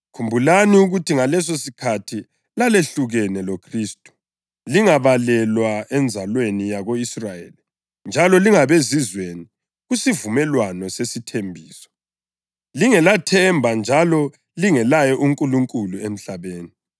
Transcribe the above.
khumbulani ukuthi ngalesosikhathi lalehlukene loKhristu, lingabalelwa enzalweni yako-Israyeli njalo lingabezizweni kusivumelwano sesithembiso, lingelathemba njalo lingelaye uNkulunkulu emhlabeni.